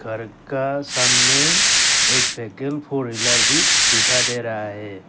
घर का सामने एक सेकेंड फोर व्हीलर भी दिखाई दे रहा है।